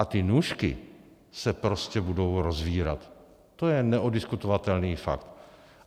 A ty nůžky se prostě budou rozvírat, to je neoddiskutovatelný fakt.